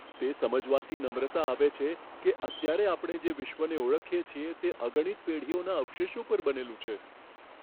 તે સમજવાથી નમ્રતા આવે છે કે અત્યારે આપણે જે વિશ્વને ઓળખીએ છીએ, તે અગણિત પેઢીઓના અવશેષો પર બનેલું છે.